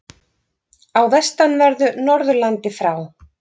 Á vestanverðu Norðurlandi frá